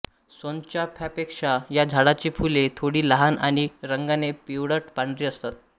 सोनचाफ्यापेक्षा या झाडाची फुले थोडी लहान आणि रंगाने पिवळट पांढरी असतात